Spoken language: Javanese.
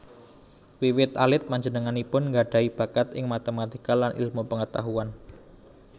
Wiwit alit panjenenganipun nggadhahi bakat ing matematika lan ilmu pangetahuan